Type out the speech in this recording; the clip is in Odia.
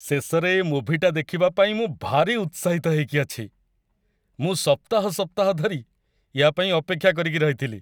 ଶେଷରେ ଏ ମୁଭିଟା ଦେଖିବା ପାଇଁ ମୁଁ ଭାରି ଉତ୍ସାହିତ ହେଇକି ଅଛି! ମୁଁ ସପ୍ତାହ ସପ୍ତାହ ଧରି ୟା' ପାଇଁ ଅପେକ୍ଷା କରିକି ରହିଥିଲି ।